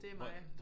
Det er mig